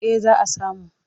Eh za a samu.